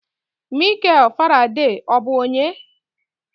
Mikel Faraday, ọ bụ onye?